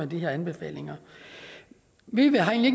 de her anbefalinger vi vi har egentlig